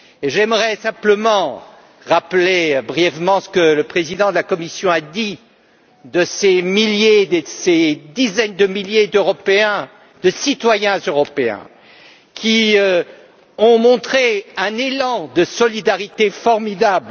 J'aimerais simplement rappeler brièvement ce que le président de la Commission a dit de ces milliers, de ces dizaines de milliers d'Européens, de citoyens européens qui ont montré un élan de solidarité formidable.